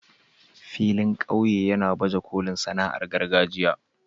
filin ƙauye ya baje kolin sana'ar gargajiya.